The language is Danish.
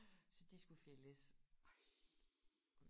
Så de skulle fældes